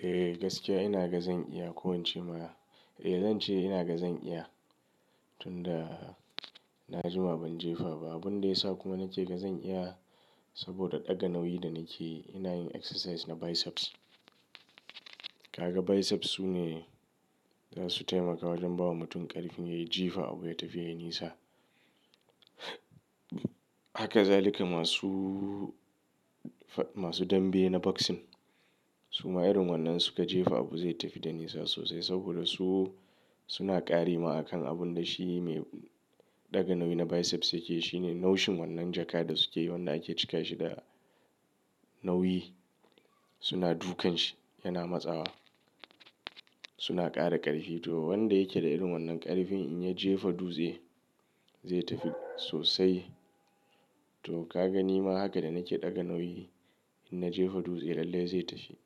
Eh gaskiya ina ga zan iya ko ince ma, eh zan ce ina ga zan iya. Tun da na jima ban jefa ba, abun da ya sa kuma na ke ga zan iya saboda ɗaga nauyi da nake ina yin exercise na biceps. Kaga biceps sune zasu taimaka wajen bawa mutum ƙarfin yayi jifa abu ya tafi ya yi nisa. Haka zalika masu, masu dambe na boxing su ma irin wannan suka jefa abu zai tafi da nisa sosai saboda su suna ƙari ma a kan abun da shi mai ɗaga nauyi na biceps yake. Shi ne naushin wannan jaka da suke yi wanda ake cika shi da nauyi, suna dukan shi yana matsawa. Suna ƙara ƙarfi to wanda yake da irin wannan ƙarfin in ya jefa dutse zai tafi sosai. To kaga ni ma haka da nake ɗaga nauyi in na jefa dutse lallai zai tafi.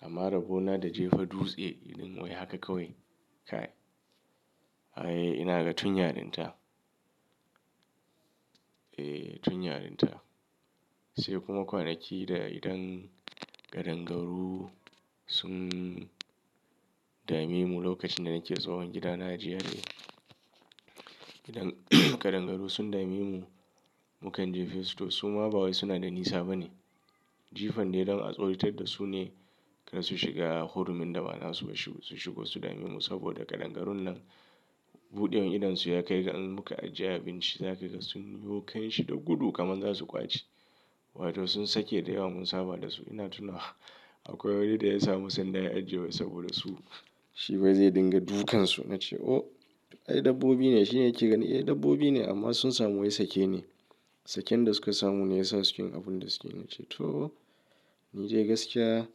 Amma rabo na da jefa dutse idan wai haka kawai kai, ai. Ai ina ga tun yarinta. Eh tun yarinta sai kuma kwanaki da idan ƙadangaru sun dame mu lokacin da nake tsahon gida na a GRA. Idan ƙadangaru sun dame mu mukan jefa su to su ma ba wai suna da nisa bane. Jifan dai don a tsoratar da su ne kar su shiga hurumin da ba, sh su shigo su dame mu saboda ƙadangaruwan nan buɗewar idonsu ya kai ga in muka ajiye abinci za kaga sun yiwo kan shi da gudu kamar za su ƙwace. Wato sun sake da yawa mun saba da su ina tuna akwai wani da ya samu sanda ya ajiye wai saboda su shi wai zai dinga dukansu. Na ce "Oh! Ai dabbobi ne." Shi ne yake gani "Eh dabbobi ne amma sun samu wurin sake ne." Saken da suka samu ne yasa suki yin abun da suke yi. Na ce to ni dai gaskiya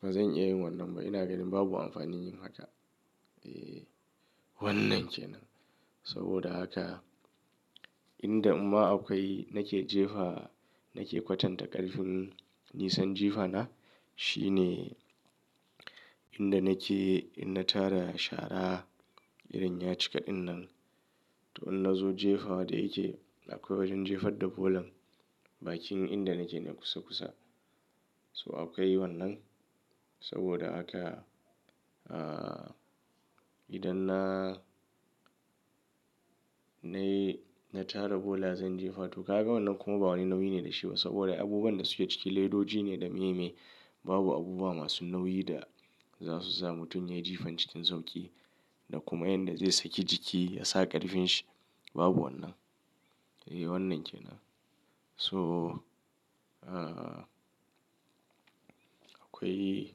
ba zan iya yin wannan ba ina ganin babu amfani yin haka. Eh wannan kenan saboda haka inda imma akwai nake jefa nake kwatanta ƙarfin nisan jifa na shi ne inda nake in na tara shara irin yaci kaɗin nan to in nazo jefa wa da yake akwai wajen jefar da bolan bakin inda nake ne kusa kusa. So akwai wannan saboda haka idan na, na yi, na tara bola zan jefa to kaga wannan kuma ba wani nauyi ne da shi ba saboda abubuwan da suke ciki ledoji ne da meye meye babu abubuwa masu nauyi da za su sa mutum yayi jifan cikin sauƙi da kuma yan da zai saki jiki ya sa ƙarfin shi babu wannan. Eh wannan kenan so akwai,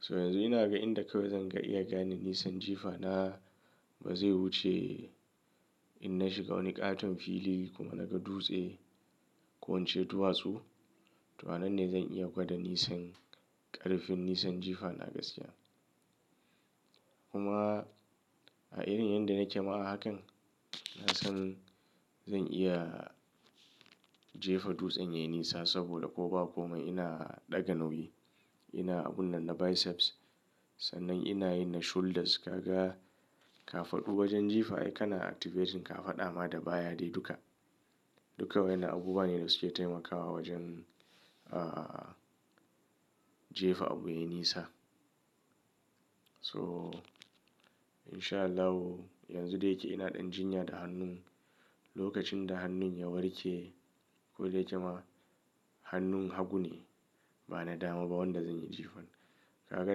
so yanzu ina ga inda kawai zan ga iya gane nisan jifa na ba zai wuce in na shiga wani ƙaton fili kuma naga dutse ko ince duwatsu. To annan ne zan iya gwada nisan ƙarfin nisan jifa na gaskiya. Kuma a irin yanda nake ma a hakan, na san zan iya jefa dutsen yayi nisa saboda ko ba komai ina ɗaga nauyi. Ina abun nan na biceps sannan ina yana na shoulders kaga kafaɗu wajen jifa ai kana activating kafaɗa ma da baya dai duka. Duka wa'yannan abubuwa ne da suke taimakawa wajen jefa abu yayi nisa. So in sha Allahu yanzu da yake ina ɗan jinya da hannun. Lokacin da hannun ya warke, ko da yake ma hannun hagu ne ba na dama ba wanda zan yi jifan. Kaga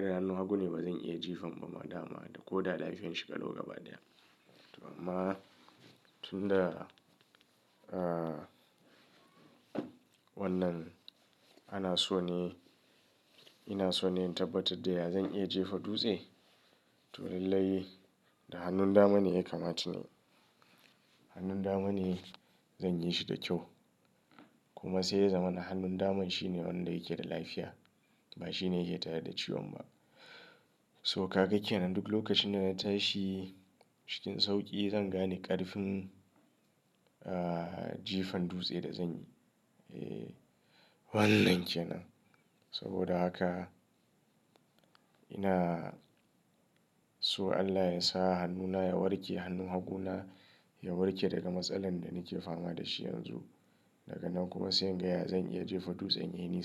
da hannun hagu ne ba zan iya jifan ba ma dama da ko da lafiyan shi kalau gaba daya. To amma tun da wannan ana so ne ina so ne in tabbatar da ya zan iya jefa dutse to lallai da hannun dama ne ya kamata inyi. Hannun dama ne zan yi shi da kyau, kuma sai ya zama na hannun daman shine wanda yake da lafiya ba shi ne yake tare da ciwon ba. So kaga kenan duk lokacin da na tashi cikin sauƙi zan gane ƙarfin jifan dutse da zan yi. Eh wannan kenan saboda haka ina so Allah ya sa hannuna ya warke hannun hagu na ya warke daga matsalar da nake fama da shi yanzu. Daga nan kuma sai in ga ya zan iya jefa dutsen yayi nisa.